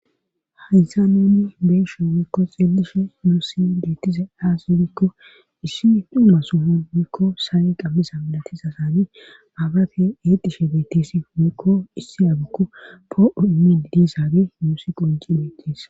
hayysa nuunni beesho wiikko xeellishe muusi deettise aassi biikko issii duumma somon wiikko saaye qammisa milatisa saani baabate eetishe beettisi meekko issi abikko poo7o imin didisaagi muusi qonci beetis